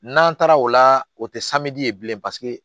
N'an taara o la o tɛ ye bilen paseke